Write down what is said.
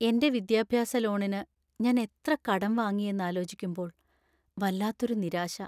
എന്‍റെ വിദ്യാഭ്യാസ ലോണിനു ഞാൻ എത്ര കടം വാങ്ങിയെന്നാലോചിക്കുമ്പോള്‍ വല്ലാത്തൊരു നിരാശ.